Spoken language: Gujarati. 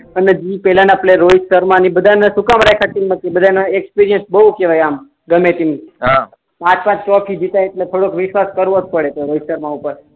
અને પેહલાના પ્લેયર રોહિત શર્મા ને એ બધાના શું કામ રાખ્યા છે એક્સ્પિરિયન્સ બઉ કેહવાય આમ ગમે તો નું પાંચ પાંચ જીતાય એટલે થોડુક વિશ્વાસ કરવું પડે રોહિત શર્મા ઉપર